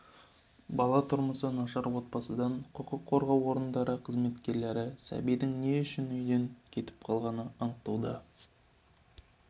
бала тұрмысы нашар отбасыдан құқық қорғау орындарының қызметкерлері сәбидің не үшін үйден кетіп қалғанын анықтауда